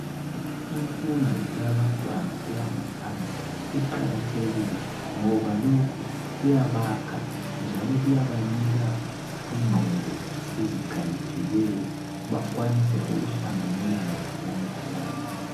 Imfundo eyabantwana eyangaphansi iqakathekile ngoba lokhu kuyabakha njalo kuyabanika ingqondo ezikhaliphileyo bakwanise ukuhlanganelana labanye abantu.